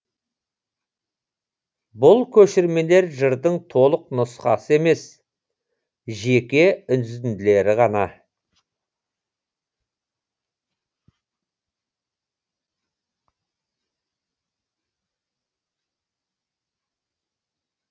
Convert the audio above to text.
бұл көшірмелер жырдың толық нұсқасы емес жеке үзінділері ғана